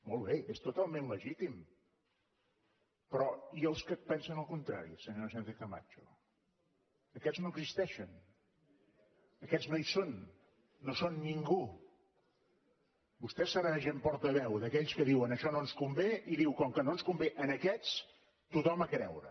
molt bé és totalment legítim però i els que pensen el contrari senyora sánchez camacho aquests no existeixen aquests no hi són no són ningú vostè s’erigeix en portaveu d’aquells que diuen això no ens convé i diu com que no ens convé a aquests tothom a creure